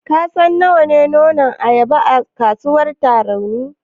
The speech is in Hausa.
Ka san nawa ne nonon ayaba a kasuwar Tarauni?